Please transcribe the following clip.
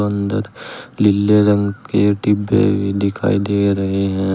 अंदर लिल्ले रंग के डिब्बे दिखाई दे रहे हैं।